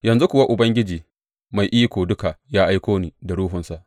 Yanzu kuwa Ubangiji Mai Iko Duka ya aiko ni, da Ruhunsa.